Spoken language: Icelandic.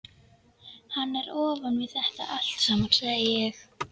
Hann er ofan við þetta allt saman, sagði ég.